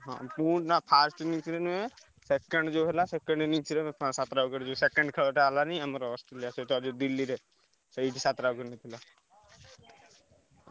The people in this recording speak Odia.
ହଁ ମୁଁ ନାଁ first inning ରେ ନୁହେଁ second ଯୋଉ ହେଲା second innings ରେ ସାତ ଟା wicket second ଖେଳ ଟା ହେଲାନି ଆମର ଯୋଉ ଅଷ୍ଟ୍ରେଲିଆ ସହିତ ଦିଲ୍ଲୀ ରେ ସେଇଠି ସାତ ଟା wicket ନେଇଥିଲା।